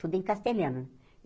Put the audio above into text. tudo em castelhano.